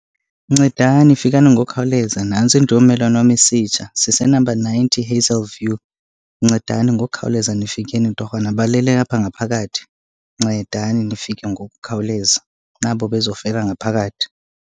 Ncedani fikani ngokukhawuleza, nantsi indlu yommelwane wam isitsha. Sisenamba ninety, Hazelview. Ncedani ngokukhawuleza nifikeni torhwana, balele apha ngaphakathi. Ncedani nifike ngokukhawuleza, nabo bezofela ngaphakathi.